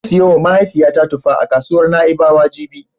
Zan siyowa mahaifiyata tufa a kasuwar Na'ibawa jibi.